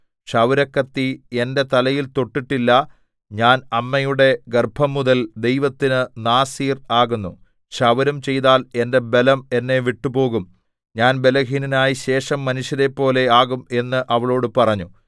ക്ഷൗരക്കത്തി എന്റെ തലയിൽ തൊട്ടിട്ടില്ല ഞാൻ അമ്മയുടെ ഗർഭംമുതൽ ദൈവത്തിന് നാസീർ ആകുന്നു ക്ഷൗരം ചെയ്താൽ എന്റെ ബലം എന്നെ വിട്ടുപോകും ഞാൻ ബലഹീനനായി ശേഷം മനുഷ്യരെപ്പോലെ ആകും എന്ന് അവളോട് പറഞ്ഞു